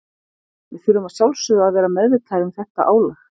Við þurfum að sjálfsögðu að vera meðvitaðir um þetta álag.